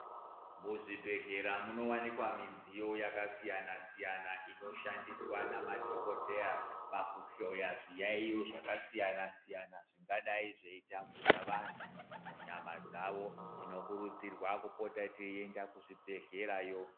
Muzvibhehlera munowanikwa midziyo yakasiyana siyana inoshandiswa nemadhokoteya pakuhloya zviyaiyo zvakasiyana siyana zvingadai zveitambuda vanhu munyama dzavo. Tinokurudzirwa kupota teienda kuzvibhehlerayo.